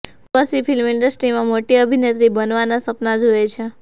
Urvashi film ઇન્ડસ્ટ્રીમાં મોટી અભિનેત્રી બનવાનાં સપના જુએ છે